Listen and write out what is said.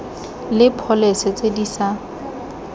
le pholese tse di sa